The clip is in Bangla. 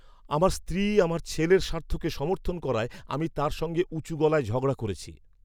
আমার স্ত্রী আমাদের ছেলের স্বার্থকে সমর্থন করায় আমি তার সঙ্গে উঁচু গলায় ঝগড়া করেছি!